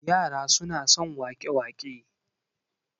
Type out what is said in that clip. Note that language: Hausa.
yara suna son wake- wake